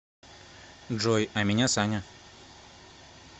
джой а меня саня